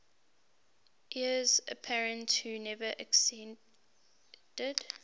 heirs apparent who never acceded